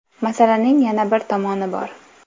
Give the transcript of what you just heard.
Masalaning yana bir tomoni bor.